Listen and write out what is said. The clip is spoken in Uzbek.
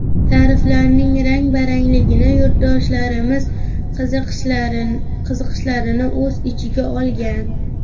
Tariflarning rang-barangligi yurtdoshlarimiz qiziqishlarini o‘z ichiga olgan.